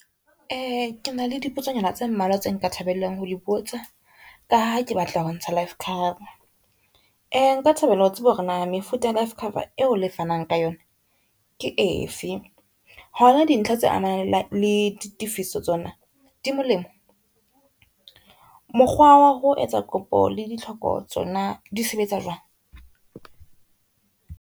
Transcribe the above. Kena le dipotsonyana tse mmalwa tse nka thabelang ho di botsa, ka ha ke batla ho ntsha life cover. Nka thabela ho tseba hore na mefuta life cover eo le fanang ka yona ke efe. Hona dintlha tse amanang le di tifiso tsona di molemo, mokgwa wa ho etsa kopo le ditlhoko tsona di sebetsa jwang?